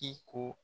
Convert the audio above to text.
I ko